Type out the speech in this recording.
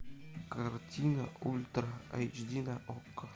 картина ультра эйч ди на окко